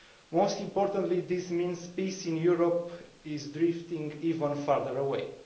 Most importantly, this means peace in Europe is drifting even further away.